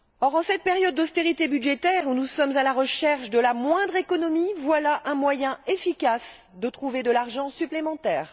En cette période d'austérité budgétaire, où nous sommes à la recherche de la moindre économie, voilà un moyen efficace de trouver de l'argent supplémentaire.